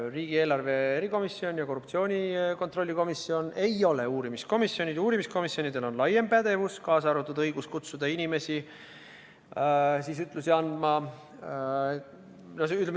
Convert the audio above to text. Riigieelarve kontrolli erikomisjon ja korruptsioonivastane erikomisjon ei ole uurimiskomisjonid, uurimiskomisjonidel on laiem pädevus, kaasa arvatud õigus kutsuda inimesi ütlusi andma.